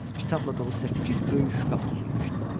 Kitabla dolu səkkiz böyük şkaf düzülmüşdü.